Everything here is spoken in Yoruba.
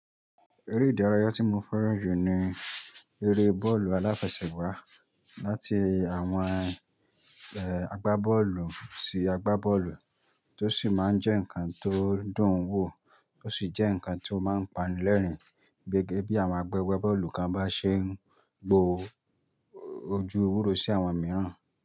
Eré ìdárayá tí mo fẹ́ràn jù ní eré bọ́ọ̀lù aláfẹsẹ̀gbá láti àwọn eh agbábọ́ọ̀lù sí agbábọ́ọ̀lù tó sì máa ń jẹ́ ǹkan tó dùn ún wò ó sì jẹ́ ǹkan tí ó máa ń panilẹ́rìn-ín gẹ́gẹ́ bí àwọn agbẹ́gbẹ́ bọ́ọ̀lù kan bá ṣe ń gbó ojú ewúró sí àwọn mìíràn.